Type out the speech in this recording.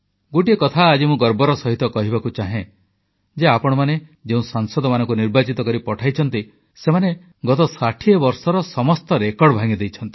ଗୋଟିଏ କଥା ଆଜି ମୁଁ ଗର୍ବର ସହିତ କହିବାକୁ ଚାହେଁ ଯେ ଆପଣମାନେ ଯେଉଁ ସାଂସଦମାନଙ୍କୁ ନିର୍ବାଚିତ କରି ପଠାଇଛନ୍ତି ସେମାନେ ଗତ ଷାଠିଏ ବର୍ଷର ସମସ୍ତ ରେକର୍ଡ ଭାଙ୍ଗିଦେଇଛନ୍ତି